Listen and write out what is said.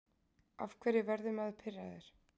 af hverju verður maður pirraður